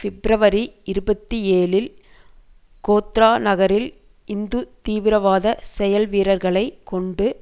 பிப்ரவரி இருபத்தி ஏழில் கோத்ரா நகரில் இந்து தீவிரவாத செயல்வீரர்களை கொண்டு